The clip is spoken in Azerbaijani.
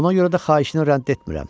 Ona görə də xahişini rədd etmirəm.